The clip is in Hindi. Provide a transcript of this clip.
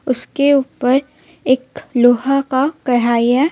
उसके ऊपर एक लोहा का कहाई हे.